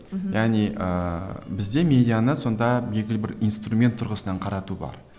мхм яғни ыыы бізде медианы сонда белгілі бар инструмент тұрғысынан қарату бар